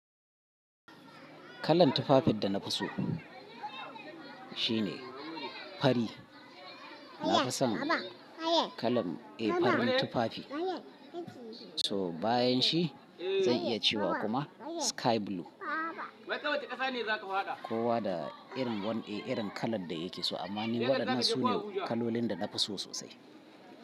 Kalan tufafin da na fi so shine fari. Na fi son kalan, eh farin tufafi. So bayan shi zan iya cewa kuma sky blue. Kowa da irin, wani irin kalan da yake so amma ni waɗannan su ne kalolin da na fi so sosai.